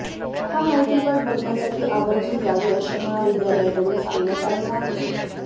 हा माहितीपट बघण्यासाठी आवर्जून यावे असे महाविद्यालयाकडून सांगण्यात आले आहे